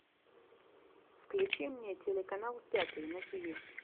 включи мне телеканал пятый на тиви